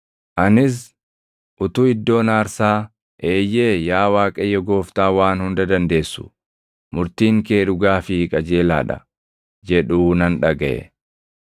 Anis utuu iddoon aarsaa, “Eeyyee yaa Waaqayyo Gooftaa Waan Hunda Dandeessu, murtiin kee dhugaa fi qajeelaa dha” jedhuu nan dhagaʼe.